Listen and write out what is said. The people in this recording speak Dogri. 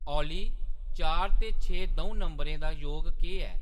ऑली चार ते छे द'ऊं नंबरें दा योग केह्‌‌ ऐ